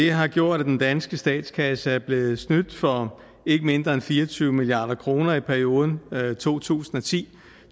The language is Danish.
har gjort at den danske statskasse er blevet snydt for ikke mindre end fire og tyve milliard kroner i perioden to tusind og ti